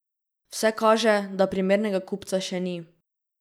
Vse kaže, da primernega kupca še ni.